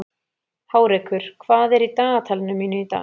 Hárekur, hvað er í dagatalinu mínu í dag?